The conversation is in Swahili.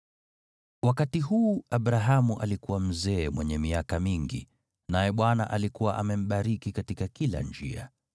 Wakati huu Abrahamu alikuwa mzee mwenye miaka mingi, naye Bwana alikuwa amembariki katika kila njia.